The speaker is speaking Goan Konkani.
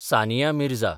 सानिया मिर्झा